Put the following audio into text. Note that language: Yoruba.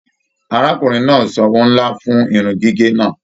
Arákùnrin náà sanwó nlá fún irun gígé náà.